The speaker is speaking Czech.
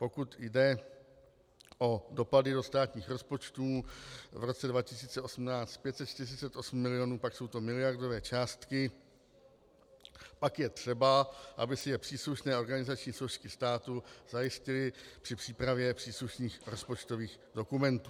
Pokud jde o dopady do státních rozpočtů, v roce 2018 548 milionů, pak jsou to miliardové částky, pak je třeba, aby si je příslušné organizační složky státu zajistily při přípravě příslušných rozpočtových dokumentů.